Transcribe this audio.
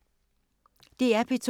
DR P2